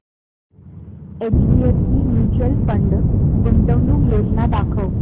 HDFC mutual fund गुंतवणूक योजना दाखव